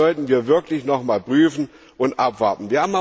Das sollten wir wirklich nochmals prüfen und abwarten.